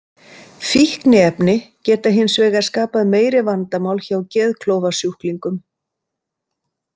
Fíkniefni geta hins vegar skapað meiri vandamál hjá geðklofasjúklingum.